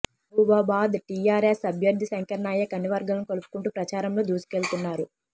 మహబూబాబాద్ టీఆర్ఎస్ అభ్యర్థి శంకర్ నాయక్ అన్ని వర్గాలను కలుపుకుంటూ ప్రచారంలో దూసుకెళ్తున్నారు